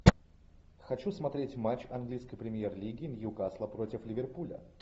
хочу смотреть матч английской премьер лиги ньюкасла против ливерпуля